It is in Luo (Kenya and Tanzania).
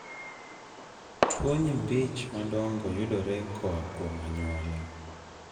Tuwo nyimbi ich madongo yudore koa kuom anyuola .